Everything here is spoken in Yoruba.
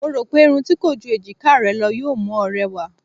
Mo rò pé irun tí kò ju èjiká rẹ lọ yóò mú ọ rẹwà.